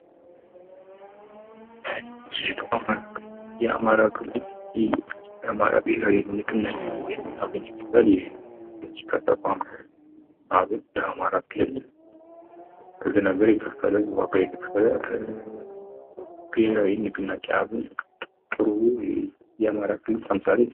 ይህ የአማራ ብሄራዊ ንቅናቄ ወይም አብን የሚባል የፖለቲካ ተቋም ነው። አብን ለአማራ ክልል ብዙ ነገር የከፈለ ብዙ ዋጋ የከፈለ ብሄራዊ ንቅናቄ አብን ጥሩ የአማራ ክልል ተምሳሌት ነው።